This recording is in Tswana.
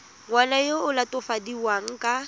ngwana yo o latofadiwang ka